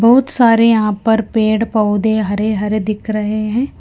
बहुत सारे यहां पर पेड़ पौधे हरे हरे दिख रहे हैं।